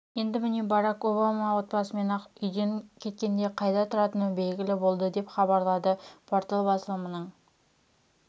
енді міне барак обама отбасымен ақ үйден кеткенде қайда тұратыны белгілі болды деп хабарлады порталы басылымның